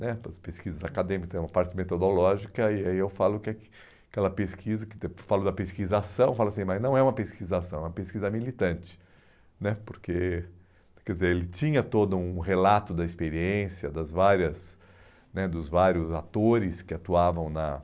né para as pesquisas acadêmicas, tem uma parte metodológica, e aí aí eu falo que aquela pesquisa, que falo da pesquisação, falo assim, mas não é uma pesquisação, é uma pesquisa militante né, porque, quer dizer, ele tinha todo um relato da experiência das várias né dos vários atores que atuavam na